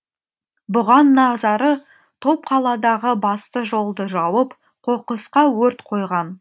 бұған назары топ қаладағы басты жолды жауып қоқысқа өрт қойған